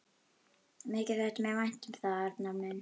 Mikið þætti mér vænt um það, Arnar minn!